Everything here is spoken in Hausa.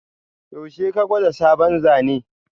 Yaushe ka gwada sabon Zane?